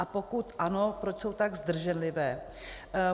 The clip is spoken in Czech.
A pokud ano, proč jsou tak zdrženlivé?